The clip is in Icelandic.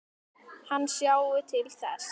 Hann sjái til þess.